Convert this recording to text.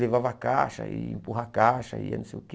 Levava caixa, ia empurrar caixa, ia não sei o quê.